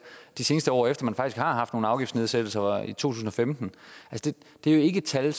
de seneste år efter at man faktisk har haft nogle afgiftsnedsættelser i to tusind og femten er jo ikke tal